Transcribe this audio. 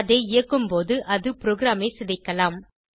அதை இயக்கும்போது அது ப்ரோகிராமை சிதைக்கலாம்